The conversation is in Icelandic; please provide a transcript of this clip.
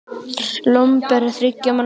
Lomber er þriggja manna spil.